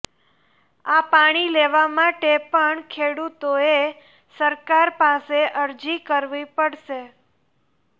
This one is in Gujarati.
અા પાણી લેવા માટે પણ ખેડૂતોઅે સરકાર પાસે અરજી કરવી પડશે